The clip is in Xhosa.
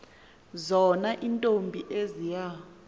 zona iintombi eziya